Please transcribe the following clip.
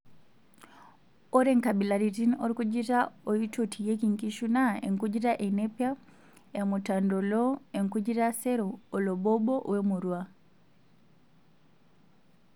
Ore nkabilaritin orkujita oitotieki nkishuu naa enkujita enepia, emutantoloo, enkujita sero, olobobo wemurua.